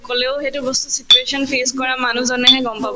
কলেও সেইটো বস্তুৰ situation face কৰা মানুহজনেহে গম পাব